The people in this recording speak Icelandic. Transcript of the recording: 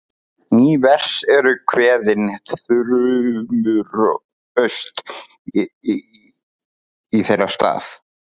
Ný vers eru kveðin þrumuraust í þeirra stað.